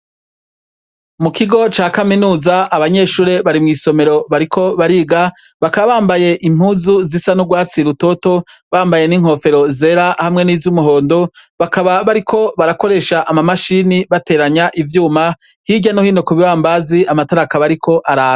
Mu kigo ca kaminuza abanyeshure bari mw'isomero bariko bariga, bakaba bambaye impuzu zisa n'urwatsi rutoto, bambaye n'inkofero zera hamwe niz'umuhondo, bakaba bariko barakoresha amamashini bateranya ivyuma, hirya no hino ku bibambazi amatara akaba ariko araka.